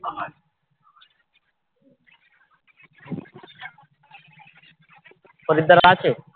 খরিদ্দার আছে?